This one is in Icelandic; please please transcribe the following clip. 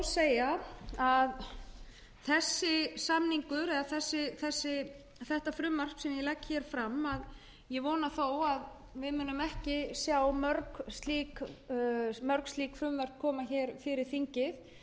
þó að segja að ég vona að við munum ekki sjá mörg frumvörp af því tagi sem ég legg hér fram koma fyrir þingið